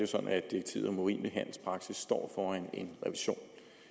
sådan at direktivet om urimelig handelspraksis står foran en revision